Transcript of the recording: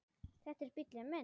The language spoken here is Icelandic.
Þetta er bíllinn minn